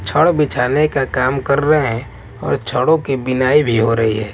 छड़ बिछाने का काम कर रहे हैंऔर छड़ों के बिनाई भी हो रही है।